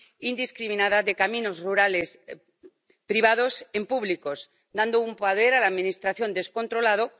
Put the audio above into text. indiscriminada de caminos rurales privados en públicos, dando a la Administración un poder descontrolado.